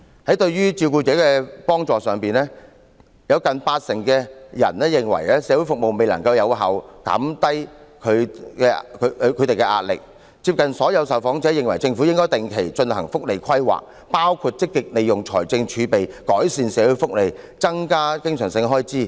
在對照顧者的幫助上，有近八成受訪者認為社會服務未能有效減低其壓力；而幾乎所有受訪者均認為，政府應該定期進行福利規劃，包括積極利用財政儲備改善社會福利和增加經常性開支。